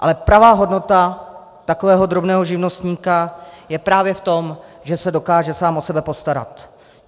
Ale pravá hodnota takového drobného živnostníka je právě v tom, že se dokáže sám o sebe postarat.